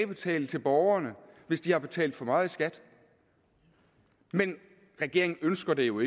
betale til borgerne hvis de har betalt for meget i skat men regeringen ønsker det jo